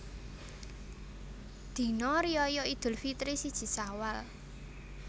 Dina Riyaya Idul Fitri siji Syawal